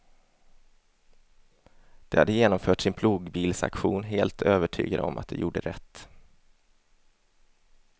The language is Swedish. De hade genomfört sin plogbillsaktion helt övertygade om att de gjorde rätt.